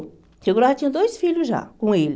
Chegou lá, tinha dois filhos já, com ele.